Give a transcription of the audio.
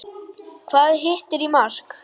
Hvað hittir í mark?